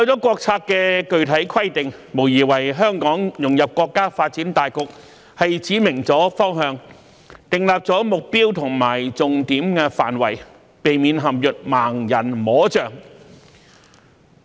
國策的具體規定無疑為香港融入國家發展大局指明了方向、訂立了目標和重點範圍，避免陷於"盲人摸象"。